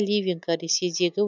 ливенка ресейдегі